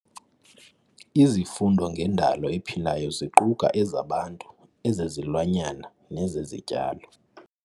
Izifundo ngendalo ephilayo ziquka ezabantu, ezezilwanyana nezezityalo.